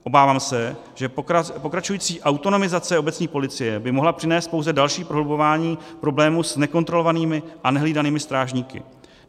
Obávám se, že pokračující autonomizace obecní policie by mohla přinést pouze další prohlubování problému s nekontrolovanými a nehlídanými strážníky.